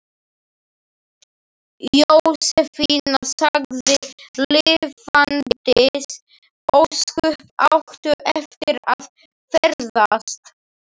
Jósefína sagði: Lifandis ósköp áttu eftir að ferðast.